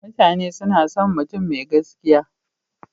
Mutane suna son mutum mai gaskiya.